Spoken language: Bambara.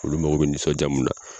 Olu mago bɛ nisɔnja mun na